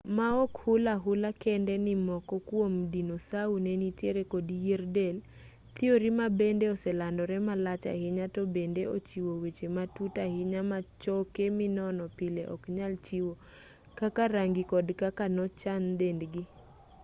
ma ok hul ahula kende ni moko kuom dinosau ne nitiere kod yier del thiori ma bende oselandore malach ahinya to bende ochiwo weche matut ahinya ma choke minono pile ok nyal chiwo kaka rangi kod kaka nochan dendgi